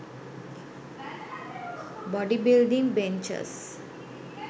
bodybuilding benches